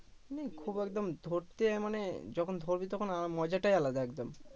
মানে খুব একদম ধরতে মানে যখন ধরবি তখন আহ মজাটাই আলাদা একদম